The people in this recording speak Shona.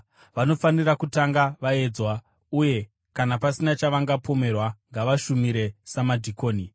Vanofanira kutanga vaedzwa, uye kana pasina chavangapomerwa, ngavashumire samadhikoni.